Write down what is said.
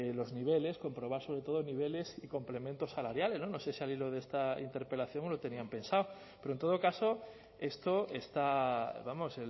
los niveles comprobar sobre todo niveles y complementos salariales no sé si al hilo de esta interpelación lo tenían pensado pero en todo caso esto está vamos